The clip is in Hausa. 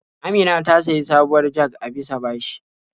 Amina ta sayi sabuwar jag a bisa bashi.